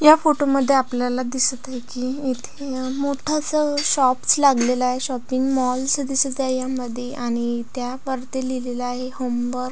या फोटो मध्ये आपल्याला दिसत आहे की इथे अ मोठ अस शॉप्स लागलेलय. शॉपिंग मॉल्स अस दिसत आहे यामध्ये आणि त्या वरती लिहिलेल आहे होमबर--